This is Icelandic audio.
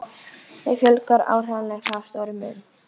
Þeim fjölgar árlega að stórum mun.